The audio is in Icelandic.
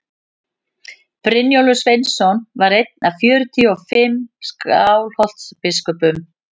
brynjólfur sveinsson var einn af fjörutíu og fimm skálholtsbiskupum